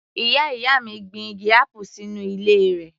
Ìyá ìyá mi gbin igi apple sínú ilé rẹ̀